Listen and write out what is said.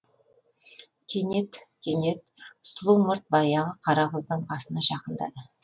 кенет кенет сұлу мұрт баяғы қара қыздың қасына жақындады